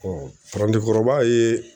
parandenkɔrɔba ye